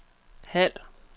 halv